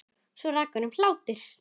Svo rak hann upp hlátur.